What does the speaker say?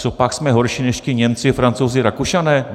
Cožpak jsme horší než ti Němci, Francouzi, Rakušané?